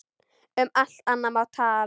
Um allt annað má tala.